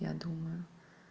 я думаю